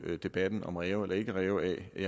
debatten om ræve eller ikke ræve af vil